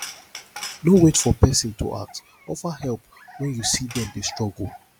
no wait for person to ask offer help when you see them dey struggle